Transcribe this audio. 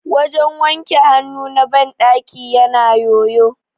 wajen wanke hannu na bandaki yana yoyo